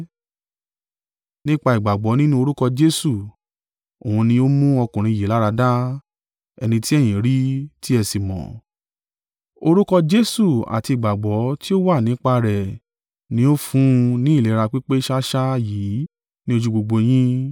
Nípa ìgbàgbọ́ nínú orúkọ Jesu, òun ni ó mú ọkùnrin yìí láradá, ẹni tí ẹ̀yin rí, tí ẹ sì mọ̀. Orúkọ Jesu àti ìgbàgbọ́ tí ó wá nípa rẹ̀ ni ó fún un ní ìlera pípé ṣáṣá yìí ni ojú gbogbo yín.